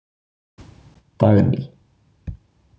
Dagný